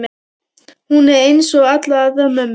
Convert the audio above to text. Hún er einsog allar aðrar mömmur.